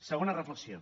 segona reflexió